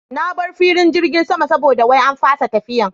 Na bar filin jirgin sama saboda wai an fasa tafiyan